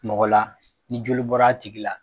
Mɔgɔ la ni joli bɔra a tigi la